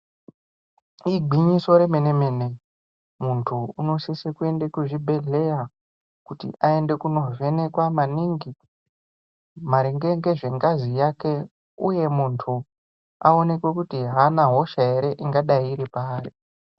Igwinyiso remene-mene. Muntu unosise kuende kuzvibhedhleya kuti aende kunovhenekwa maningi maringe ngezvengazi yake uye kuti muti aonekwe kuti haana hosha ere ingadai iri paari.